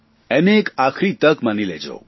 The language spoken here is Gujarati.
અને એક આખરી તક માની લેજો